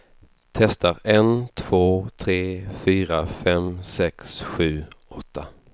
Testar en två tre fyra fem sex sju åtta.